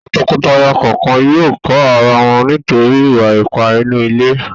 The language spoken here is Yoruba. Àwọn tọkọtaya kọ̀ọ̀kan yóò kọ ara wọn nítorí ìwà-ipá inú ilé.